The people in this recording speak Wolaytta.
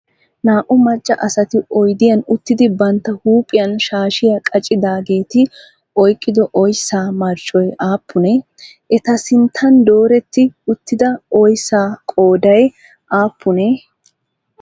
Naa"u macca asati oyidiyan uttidi bantta huuphiyan shaashiya qachchidaageeti oyikkido oyissaa marccoy aappunee? Eta sinttan dooretti uttida oyissaa qooday aappunee?